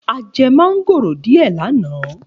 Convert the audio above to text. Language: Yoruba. A je mángóró dìé ní àná.